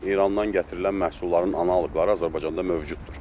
İrandan gətirilən məhsulların analoqları Azərbaycanda mövcuddur.